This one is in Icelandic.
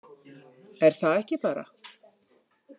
Er það ekki bara?